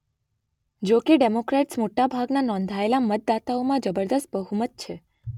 જોકે ડેમોક્રેટ્સ મોટા ભાગના નોંધાયેલા મતદાતાઓમાં જબરજસ્ત બહુમત છે